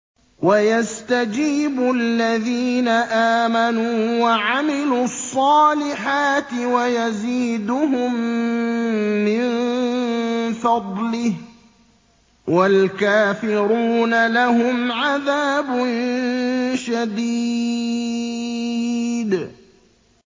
وَيَسْتَجِيبُ الَّذِينَ آمَنُوا وَعَمِلُوا الصَّالِحَاتِ وَيَزِيدُهُم مِّن فَضْلِهِ ۚ وَالْكَافِرُونَ لَهُمْ عَذَابٌ شَدِيدٌ